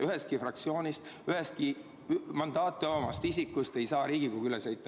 Ühestki fraktsioonist, ühestki mandaati omavast isikust ei saa Riigikogu üle sõita.